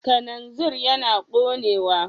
Kananzir yana ƙonewa.